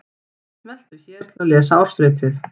Smelltu hér til að lesa ársritið